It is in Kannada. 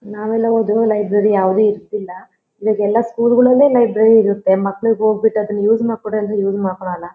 ನಾವೆಲ್ಲಾ ಓದೋ ಲೈಬ್ರರಿ ಯಾವದು ಇರತ್ತಿಲ್ಲಾಈಗೆಲ್ಲಾ ಸ್ಕೂಲ್ ಗಳಲ್ಲೇ ಲೈಬ್ರರಿ ಇರುತ್ತೆ ಮಕ್ಕಳಿಗೆ ಹೋಗ ಬಿಟ್ಟಿ ಅದನ್ನ ಯೂಸ್ ಮಾಡಕೋ ಅಂದ್ರೆ ಯೂಸ್ ಮಾಡಕೋಳಲ್ಲಾ.